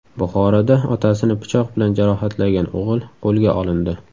Buxoroda otasini pichoq bilan jarohatlagan o‘g‘il qo‘lga olindi.